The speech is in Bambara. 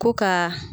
Ko ka